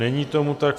Není tomu tak.